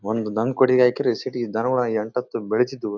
ಒಂದು ನಂಕೊಡಿ ಹಾಕಿ ರಿಸೀಟ್ ಎಂಟತ್ತು ಬೆಳೆಸಿದ್ದು.